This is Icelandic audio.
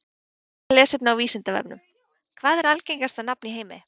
Frekara lesefni á Vísindavefnum: Hvað er algengasta nafn í heimi?